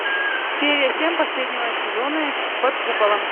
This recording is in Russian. серия семь последнего сезона под куполом